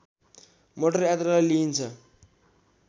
motor यात्रालाई लिइन्छ